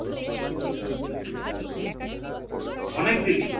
অনেকদিনই